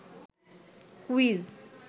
quiz